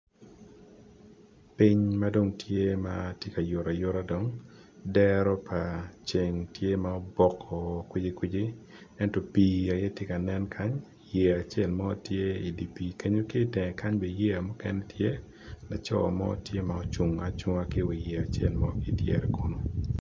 Piny madong tye ka yuto ceng tye ma obok woko laco mo tye ocung i wi yeye ki i dyere kunu